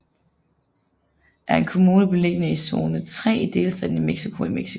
Chicoloapan er en kommune beliggende i zone III i delstaten Mexico i Mexico